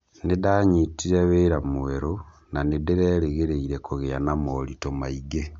Nĩ ndanyitire wĩra mwerũ, na nĩ ndĩrerĩgĩrĩire kũgĩa na moritũ maingĩ.